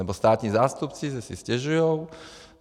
Nebo státní zástupci že si stěžujou.